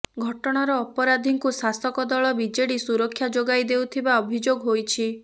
ଘଟଣାର ଅପରାଧୀଙ୍କୁ ଶାସକଦଳ ବିଜେଡି ସୁରକ୍ଷା ଯୋଗାଇ ଦେଉଥିବା ଅଭିଯୋଗ ହୋଇଛି